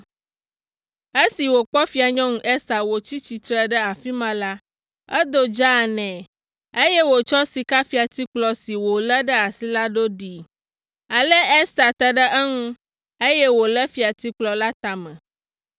Esi wòkpɔ Fianyɔnu Ester wòtsi tsitre ɖe afi ma la, edo dzaa nɛ, eye wòtsɔ sikafiatikplɔ si wolé ɖe asi la do ɖee. Ale Ester te ɖe eŋu, eye wòlé fiatikplɔ la tame.